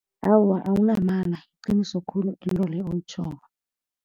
Awa, awunamala. Yiqiniso khulu into leyo oyitjhoko.